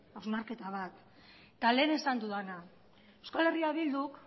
hausnarketa bat eta lehen esan dudana euskal herria bilduk